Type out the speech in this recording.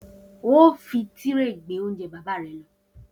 O óò fi tírè gbé oúnje̩ bàbá re̩ lo̩!